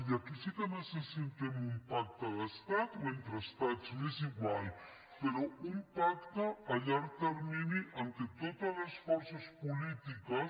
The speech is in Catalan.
i aquí sí que necessitem un pacte d’estat o entre estats m’és igual però un pacte a llarg termini en què totes les forces polítiques